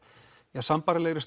eða sambærilegri